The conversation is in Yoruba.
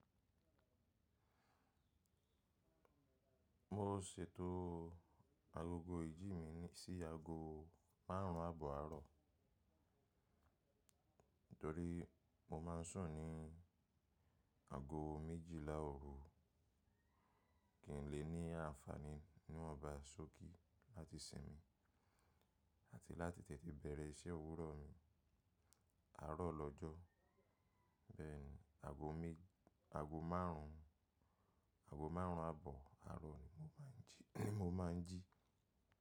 Mo ṣètò agogo ìjí mi sí aago márùn-ún àbọ̀ àárọ̀ torí mo máa ń sùn ní ago méjìlá òru, kí n lè ní àǹfààní ní wonba ṣókí láti sinmi àti láti tètè bẹ̀rẹ̀ iṣẹ́ òwúrọ̀ mi. Àárọ̀ lọ́jọ́ bẹ́ẹ̀ ni, ago márùn-ún àbọ̀ àárọ̀ ni mo máa ń jí.